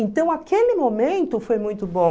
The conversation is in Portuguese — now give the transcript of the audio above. Então, aquele momento foi muito bom.